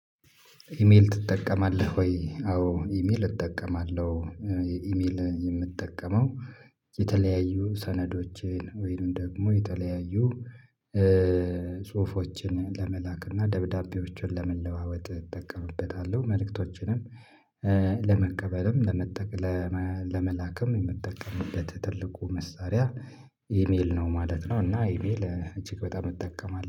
ኢሜል ትጠቀማለህ ወይ? አዎ ኢሜል እጠቀማለሁ። ኢሜል የምጠቀመው የተለያዩ ሰነዶችን ወይም ደግሞ የተለያዩ ጽሁፎችን ለመላክ እና ደብዳቤዎችን ለመለዋወጥ እጠቀምበታለሁ። መልእክቶችንም ለመቀበልም ለመላክም የምጠቀምበት ትልቁ መሳሪያ ኢሜል ነው ማለት ነው። እና ኢሜል እጅግ በጣም እጠቀማለሁ